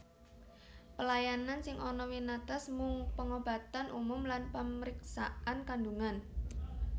Pelayanan sing ana winates mung pangobatan umum lan pamriksaan kandhungan